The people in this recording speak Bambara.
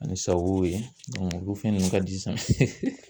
Ani sawow ye olu fɛn ninnu ka di sisan